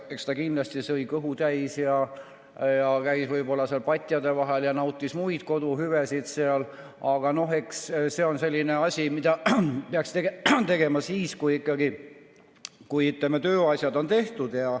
Eks ta kindlasti sõi kõhu täis ja käis seal patjade vahel ja nautis muid koduseid hüvesid, aga see on selline asi, mida peaks tegema siis, kui tööasjad on tehtud.